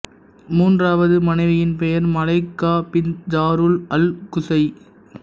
மூன்றாவது மனைவியின் பெயர் Malaika bint Jarul al Qusay